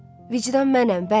Vicdan mənəm, bəli.